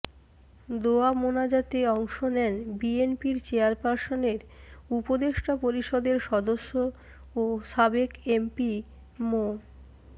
দোয়া মোনাজাতে অংশ নেন বিএনপির চেয়ারপার্সনের উপদেষ্টা পরিষদের সদস্য ও সাবেক এমপি মো